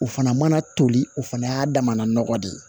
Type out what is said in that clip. O fana mana toli o fana y'a damana nɔgɔ de ye